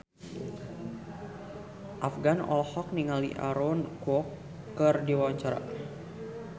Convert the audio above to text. Afgan olohok ningali Aaron Kwok keur diwawancara